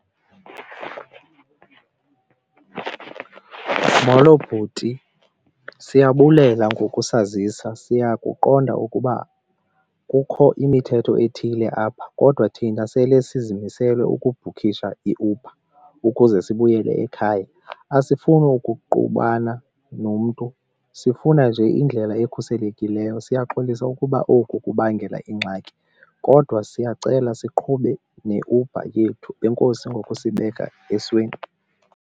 Molo bhuti, siyabulela ngokusazisa siyakuqonda ukuba kukho imithetho ethile apha kodwa thina sele sizimisele ukubhukhisha iUber ukuze sibuyele ekhaya. Asifuni ukuqubana nomntu sifuna nje indlela ekhuselekileyo. Siyaxolisa ukuba oku kubangela ingxaki kodwa siyacela siqhube neUber yethu, enkosi ngoku kusibeka esweni.